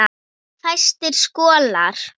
Fæstir skollar